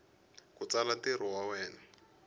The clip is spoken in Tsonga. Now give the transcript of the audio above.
ku tsala ntirho wa wena